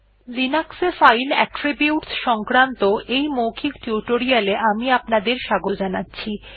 Linux এ file attributes সংক্রান্ত এই মৌখিক টিউটোরিয়াল এ আমি আপনাদের স্বাগত জানাচ্ছি